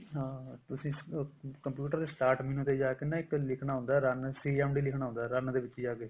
ਹਾਂ ਹਾਂ ਤੁਸੀਂ computer ਤੇ start menu ਤੇ ਜਾ ਕੇ ਨਾ ਇੱਕ ਲਿੱਖਣਾ ਹੁੰਦਾ run CMD/initial> ਲਿੱਖਣਾ ਹੁੰਦਾ run ਦੇ ਵਿੱਚ ਜਾ ਕੇ